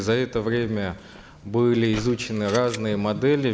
за это время были изучены разные модели